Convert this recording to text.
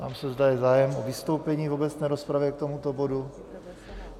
Ptám se, zda je zájem o vystoupení v obecné rozpravě k tomuto bodu.